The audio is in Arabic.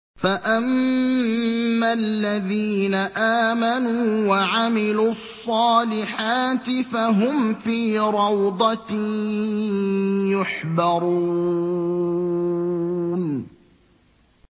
فَأَمَّا الَّذِينَ آمَنُوا وَعَمِلُوا الصَّالِحَاتِ فَهُمْ فِي رَوْضَةٍ يُحْبَرُونَ